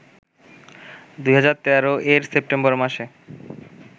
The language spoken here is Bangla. ২০১৩-এর সেপ্টেম্বর মাসে